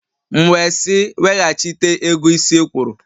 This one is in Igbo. M wee sị, Weghachite ego isi ikwụrụ!